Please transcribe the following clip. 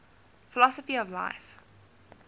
philosophy of life